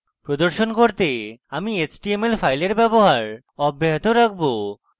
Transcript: প্রদর্শন করতে আমি html files ব্যবহার অব্যাহত রাখবো